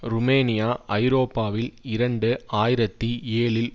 Romania ஐரோப்பாவில் இரண்டு ஆயிரத்தி ஏழில்